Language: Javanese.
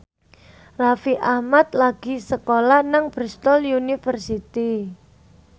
Raffi Ahmad lagi sekolah nang Bristol university